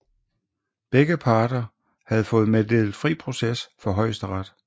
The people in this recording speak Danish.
Begge parter havde fået meddelt fri proces for Højesteret